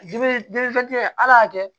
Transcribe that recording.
ala y'a kɛ